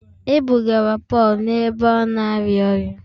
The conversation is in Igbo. E bugara Pọl n’ebe a na-arịa ọrịa